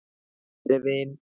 Kæri vin!